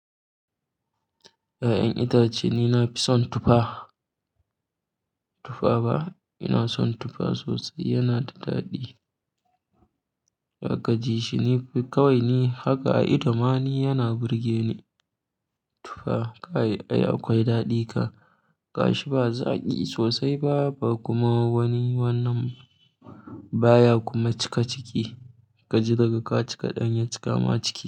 Ya'yan itace ni na fi son tufa, tufa ba, ina son tufa sosai. Yana da daɗi. Ka ji shi ni kawai ne haka a ido ma ni yana burge ni. Tufa kayi ai akwai daɗi ka gashi ba zaki sosai ba, ba kuma wani wannan baya kuma cika ciki. Ka ji daga ka cika ɗanye cika ma ciki.